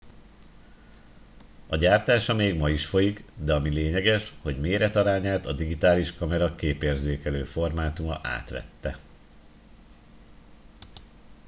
a gyártása még ma is folyik de ami lényeges hogy méretarányát a digitális kamera képérzékelő formátuma átvette